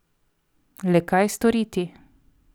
Le kaj storiti?